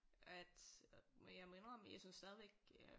At jeg må indrømme jeg synes stadigvæk øh